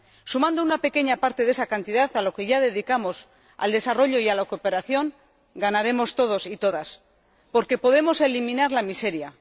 Sumando una pequeña parte de esa cantidad a lo que ya dedicamos al desarrollo y a la cooperación ganaremos todos y todas, porque podemos eliminar la miseria.